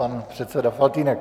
Pan předseda Faltýnek.